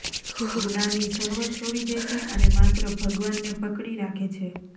જ્ઞાની સર્વ છોડી દે છે અને માત્ર ભગવાનને પકડી રાખે છે